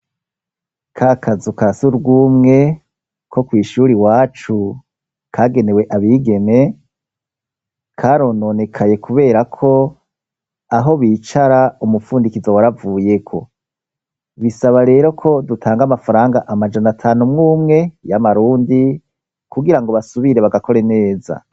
Ka kazu ka surwumwe ko kw'ishuri iwacu, kagenewe abigeme, karononekaye kubera ko aho bicara umupfundikizo waravuyeko. Bisaba rero ko dutanga amafaranga amajana atanu umwe umwe y'amarundi kugira ngo basubire bagakore neza.